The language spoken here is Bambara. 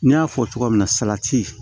N y'a fɔ cogo min na salati